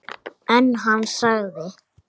En hann sagði